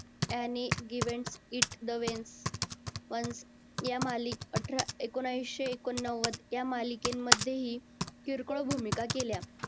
any given it the ones या मालिका अठरा एकोणविशे एकोणनव्वद या मालिकेमध्येही किरकोळ भूमिका केल्या.